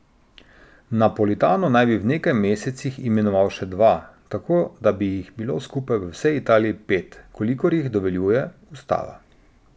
Napolitano naj bi v nekaj mesecih imenoval še dva, tako da bi jih bilo skupaj v vsej Italiji pet, kolikor jih dovoljuje ustava.